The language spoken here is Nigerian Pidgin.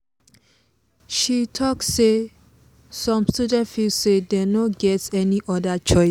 she talk say some students feel say dem no get any other choice.